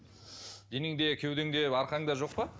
денеңде кеудеңде арқаңда жоқ па